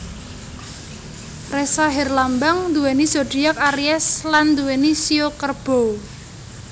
Ressa herlambang nduweni zodiak aries lan nduweni shio Kerbau